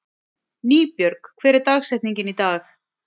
Nýbjörg, hver er dagsetningin í dag?